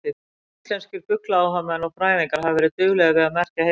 Íslenskir fuglaáhugamenn og fræðingar hafa verið duglegir við að merkja heiðlóur.